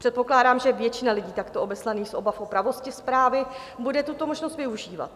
Předpokládám, že většina lidí takto obeslaných z obav o pravost zprávy bude tuto možnost využívat.